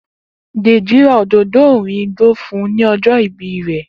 Deji ra òdòdó òòrùn igbó fún un ní ọjọ́ ìbí rẹ̀.